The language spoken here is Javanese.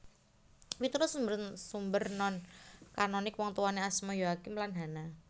Miturut sumber sumber non kanonik wongtuwané asma Yoakim lan Hana